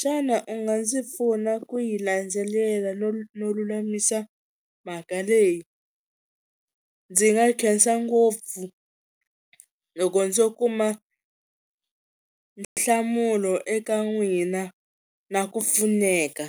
xana u nga ndzi pfuna ku yi landzelela no no lulamisa mhaka leyi? Ndzi nga khensa ngopfu loko ndzo kuma nhlamulo eka n'wina na ku pfuneka.